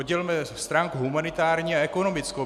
Oddělme stránku humanitární a ekonomickou.